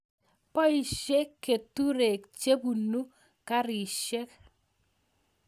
Poishe keturek che punu karishet